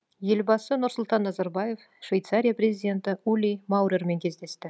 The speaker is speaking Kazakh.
елбасы нұрсұлтан назарбаев швейцария президенті ули маурермен кездесті